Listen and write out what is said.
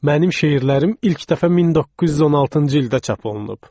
Mənim şeirlərim ilk dəfə 1916-cı ildə çap olunub."